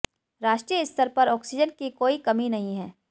राष्ट्रीय स्तर पर ऑक्सीजन की कोई कमी नहीं है